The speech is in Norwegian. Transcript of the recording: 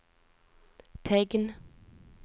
tegn